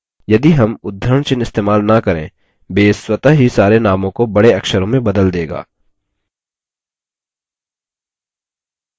यदि names उद्धरणचिह्न इस्तेमाल न करें base स्वतः ही सारे नामों को बड़े अक्षरों में बदल देगा